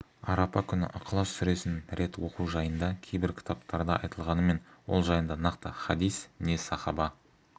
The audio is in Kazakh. арапа күні ықылас сүресін рет оқу жайында кейбір кітаптарда айтылғанымен ол жайында нақты хадис не сахаба